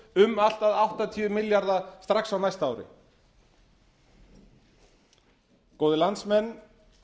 um allt að áttatíu milljarða strax á næsta ári góðir landsmenn